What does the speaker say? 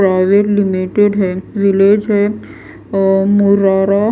private limited है release है अ मुरारा --